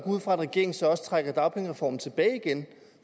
ud fra at regeringen så også trækker dagpengereformen tilbage igen